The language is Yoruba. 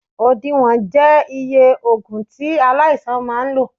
Odiwon je iye ògùn tí aláìsàn máa lò